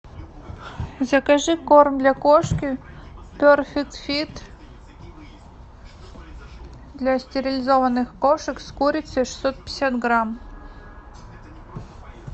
закажи корм для кошки перфект фит для стерилизованных кошек с курицей шестьсот пятьдесят грамм